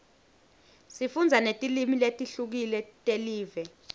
sifundza netilimi letihlukile telive